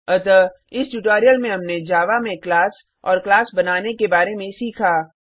अतः इस ट्यूटोरियल में हमने जावा में क्लास और क्लास बनाने के बारे में सीखा